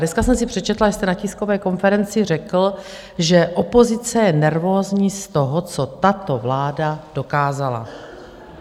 Dneska jsem si přečetla, že jste na tiskové konferenci řekl, že opozice je nervózní z toho, co tato vláda dokázala.